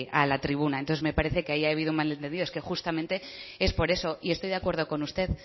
a la tribuna entonces me parece que ahí ha habido un mal entendido es que justamente es por eso y estoy de acuerdo con usted